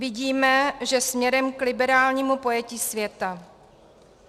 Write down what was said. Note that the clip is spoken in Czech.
Vidíme, že směrem k liberálnímu pojetí světa.